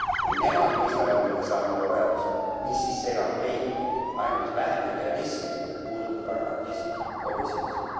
Kui nemad mõistavad nende sammude vajadust, mis siis segab meid ainult vähene idealism ja puuduv pragmatism komisjonis.